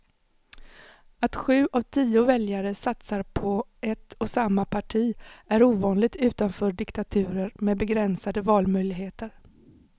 Att sju av tio väljare satsar på ett och samma parti är ovanligt utanför diktaturer med begränsade valmöjligheter.